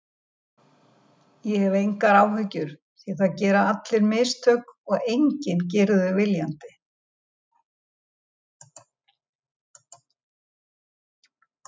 Ég hef engar áhyggjur því það gera allir mistök og enginn gerir þau viljandi.